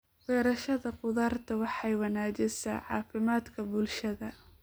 Beerashada khudaarta waxay wanaajisaa caafimaadka bulshada.